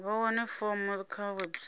vha wane fomo kha website